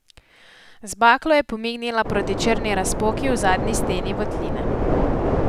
Z baklo je pomignila proti črni razpoki v zadnji steni votline.